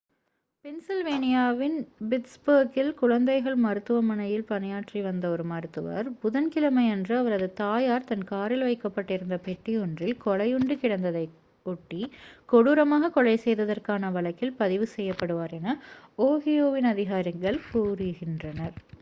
பென்சில்வேனியாவின் பிட்ஸ்பர்கில் குழந்தைகள் மருத்துவமனையில் பணியாற்றி வந்த ஒரு மருத்துவர் புதன் கிழமையன்று அவரது தாயார் தன் காரில் வைக்கப்பட்டிருந்த பெட்டி ஒன்றில் கொலையுண்டு கிடந்ததை ஒட்டி கொடூரமாக கொலை செய்ததற்கான வழக்கில் பதிவு செய்யப்படுவார் என ஓஹியோவின் அதிகாரிகள் கூறுகின்றனர்